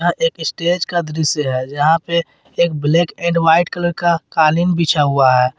एक स्टेज का दृश्य है जहां पे एक ब्लैक एंड व्हाइट कलर का कालीन बिछा हुआ है।